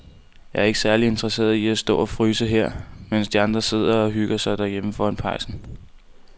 Jeg er ikke særlig interesseret i at stå og fryse her, mens de andre sidder og hygger sig derhjemme foran pejsen.